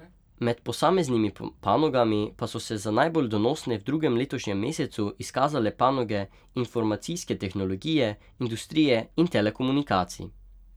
Med posameznimi panogami pa so se za najbolj donosne v drugem letošnjem mesecu izkazale panoge informacijske tehnologije, industrije in telekomunikacij.